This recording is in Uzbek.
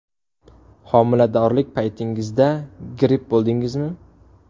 Homiladorlik paytingizda gripp bo‘ldingizmi?